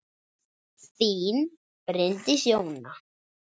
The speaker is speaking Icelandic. Þín, Bryndís Jóna.